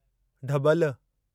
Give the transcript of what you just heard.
ढब॒ल